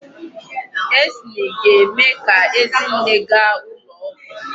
Acne ga-eme ka Ezinne gaa ụlọ ọgwụ.